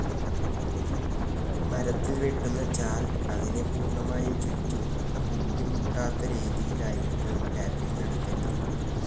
മരത്തിൽ വെട്ടുന്ന ചാൽ, അതിനെ പൂർണ്ണമായും ചുറ്റി കൂട്ടിമുട്ടാത്തരീതിയിലായിരിക്കണം ടാപ്പിംഗ്‌ നടത്തേണ്ടത്.